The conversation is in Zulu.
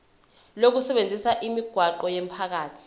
lokusebenzisa imigwaqo yomphakathi